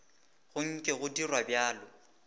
go nke go dirwa bjalo